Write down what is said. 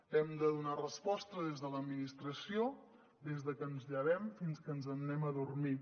hem de donar resposta des de l’administració des de que ens llevem fins que ens n’anem a dormir